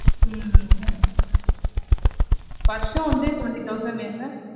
உம் first ஆ வந்து twenty thousand லயா sir